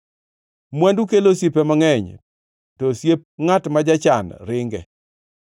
Mwandu kelo osiepe mangʼeny, to osiep ngʼat ma jachan ringe.